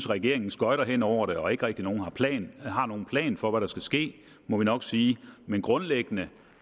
regeringen skøjter hen over det og ikke rigtig har nogen plan for hvad der skal ske må vi nok sige men grundlæggende